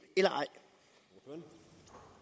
eller